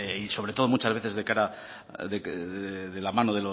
y sobre todo muchas veces de cara de la mano